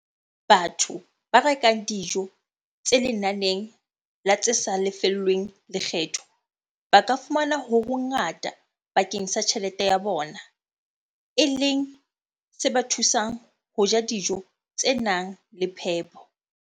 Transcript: Batho ba rekang dijo tse lenaneng la tse sa lefellweng lekgetho ba ka fumana ho hongata bakeng sa tjhelete ya bona, e leng se ba thusang ho ja dijo tse nang le phepo.